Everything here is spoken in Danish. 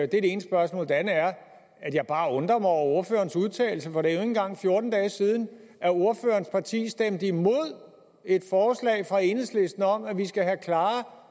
det ene spørgsmål det andet er at jeg bare undrer mig over ordførerens udtalelser for det ikke engang fjorten dage siden at ordførerens parti stemte imod et forslag fra enhedslisten om at vi skal have klare